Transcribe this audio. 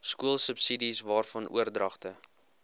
skoolsubsidies waarvan oordragte